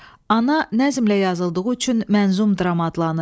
Ana nəzmlə yazıldığı üçün mənzum dram adlanır.